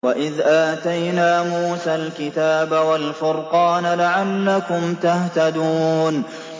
وَإِذْ آتَيْنَا مُوسَى الْكِتَابَ وَالْفُرْقَانَ لَعَلَّكُمْ تَهْتَدُونَ